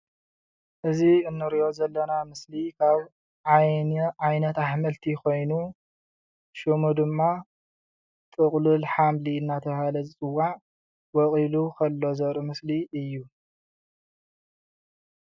እዚ እንሪኦ ዘለና ምስሊ ካብ ዓይነታት ኣሕምልቲ ኮይኑ ሽሙ ድማ ጥቑልል ሓምሊ እንዳተባሃለ ዝፅዋዕ ወቂሊ ከሎ ዘርኢ ምስሊ እዩ፡፡